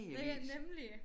Ja ja nemlig